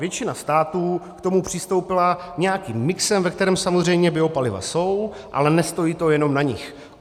Většina států k tomu přistoupila nějakým mixem, ve kterém samozřejmě biopaliva jsou, ale nestojí to jenom na nich.